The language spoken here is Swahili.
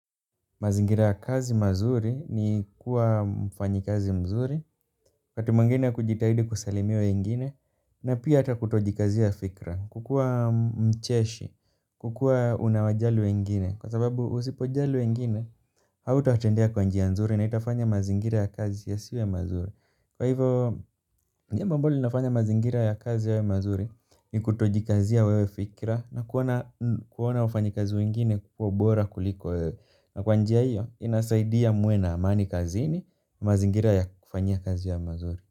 Mazingira ya kazi mazuri ni kuwa mfanyakazi mzuri, wakati mwingine kujitahidi kusalimia wengine, na pia hata kutojikazia fikra. Kukuwa mcheshi, kukuwa unawajali wengine, kwasababu usipojali wengine, hautowatendea kwa njia nzuri na itafanya mazingira ya kazi yasiwe mazuri. Kwa hivyo, jambo ambalo linafanya mazingira ya kazi yawe mazuri ni kutojikazia wewe fikra na kuona wafanyakazi wengine kuwa bora kuliko wewe. Na kwa njia hiyo inasaidia muwe na amani kazini mazingira ya kufanyia kazi yawe mazuri.